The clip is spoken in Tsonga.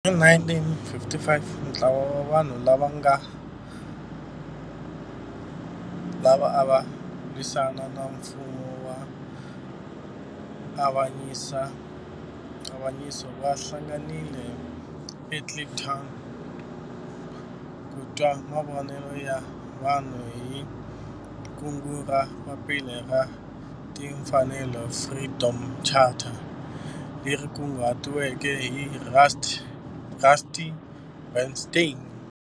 Hi 1955 ntlawa wa vanhu lava ava lwisana na nfumo wa avanyiso va hlanganile eKliptown ku twa mavonelo ya vanhu hi kungu ra Papila ra Timfanelo, Freedom Charter, leri kunguhatiweke hi Rusty Bernstein.